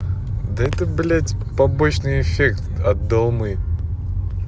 да та блядь побочный эффект от долмы